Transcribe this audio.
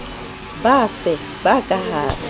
bafe ba ka ha re